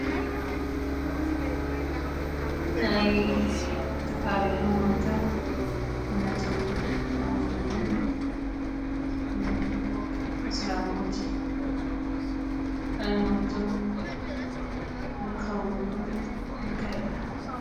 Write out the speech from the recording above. ናይ ዝተፈላለየ ሃይማኖታት እምነቶም ዝኣምንሉ አስላሞት ሃይማኖቶም ዘካብሩሉ እንታይ ይበሃል?